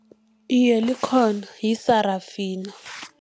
Iye, likhona yiSarafina.